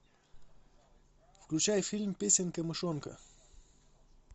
включай фильм песенка мышонка